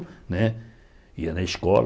Né ia na escola.